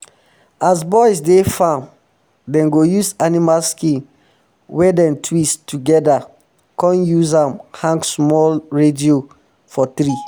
as boys dey farm dem go use animal skin wey dem twist together come use am hang small radio for tree